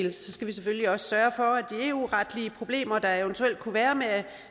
vi selvfølgelig også skal sørge for at de eu retlige problemer der eventuelt kunne være med